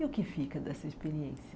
E o que fica dessa experiência?